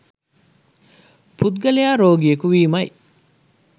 පුද්ගලයා රෝගියෙකු වීමයි.